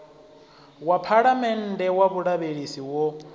wa phalamennde wa vhulavhelesi wo